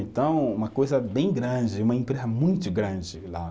Então, uma coisa bem grande, uma empresa muito grande lá.